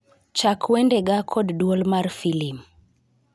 Chak wendega kod duol mar filim